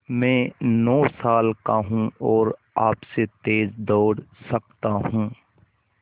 मैं नौ साल का हूँ और आपसे तेज़ दौड़ सकता हूँ